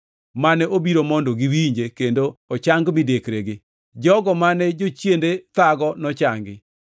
mane obiro mondo giwinje kendo ochang midekregi. Jogo mane jochiende thago nochangi,